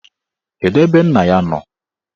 Kedụ ebe nna ya nọ?